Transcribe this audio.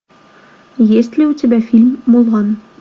есть ли у тебя фильм мулан